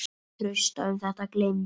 Trausta um þetta gleymd.